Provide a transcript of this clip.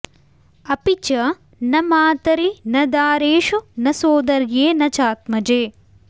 अपि च न मातरि न दारेषु न सोदर्ये न चात्मजे